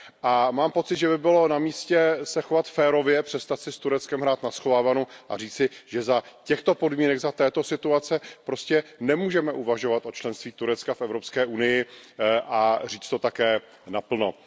A mám takový pocit, že by bylo na místě chovat se férově, přestat si s Tureckem hrát na schovávanou a říci si, že za těchto podmínek, za této situace prostě nemůžeme uvažovat o členství Turecka v Evropské unii a říct to také naplno.